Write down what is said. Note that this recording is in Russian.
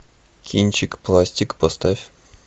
кинчик пластик поставь